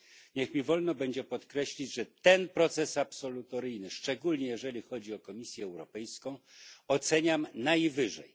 Niech mi wolno będzie podkreślić, że ten proces absolutoryjny, szczególnie jeśli chodzi o Komisję Europejską, oceniam najwyżej.